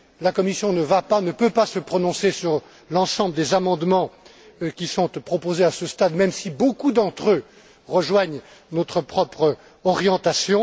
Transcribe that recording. La Commission ne va pas, et ne peut pas, se prononcer sur l'ensemble des amendements qui sont proposés à ce stade, même si beaucoup d'entre eux rejoignent notre propre orientation.